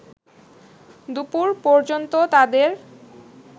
দুপুর পর্যন্ত তাদের